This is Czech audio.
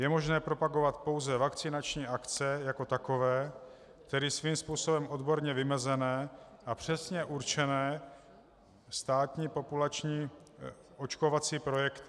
Je možné propagovat pouze vakcinační akce jako takové, tedy svým způsobem odborně vymezené a přesně určené státní populační očkovací projekty.